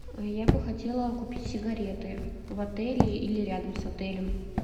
я бы хотела купить сигареты в отеле или рядом с отелем